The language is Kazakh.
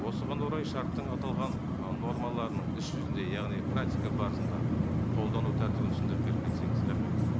осыған орай шарттың аталған ы нормаларын іс жүзінде яғни практика барысында қолдану тәртібін түсіндіріп беріп кетсеңіз рахмет